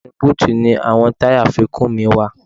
Inú búùtì ni àwọn táyà àfikún mi wà